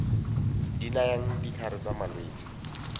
di nayang ditlhare tsa malwetse